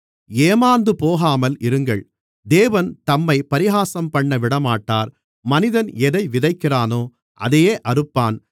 ஏமார்ந்துபோகாமல் இருங்கள் தேவன் தம்மைப் பரிகாசம்பண்ண விடமாட்டார் மனிதன் எதை விதைக்கிறானோ அதையே அறுப்பான்